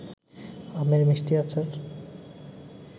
আমের মিষ্টি আচার